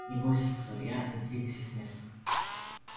не бойся сказал я не двигайся с места